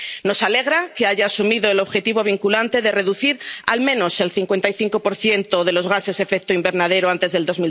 Nos alegra que haya asumido el objetivo vinculante de reducir al menos el 55 de los gases de efecto invernadero antes del